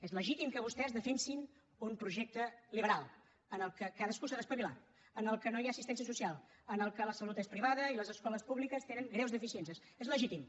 és legítim que vostès defensin un projecte liberal en què cadascú s’ha d’espavilar en què no hi ha assistència social en què la salut és privada i les escoles públiques tenen greus deficiències és legítim